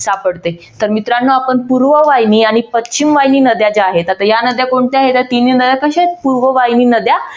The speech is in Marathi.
सापडते तर मित्रांनो आपण पूर्ववाहिनी आणि पश्चिमवाहिनी नद्या ज्या आहेत आता या नद्या कोणत्या आहेत या तिन्ही नद्या तशाच पूर्ववाहिनी नद्या